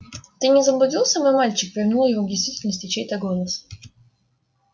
ты не заблудился мой мальчик вернул его к действительности чей-то голос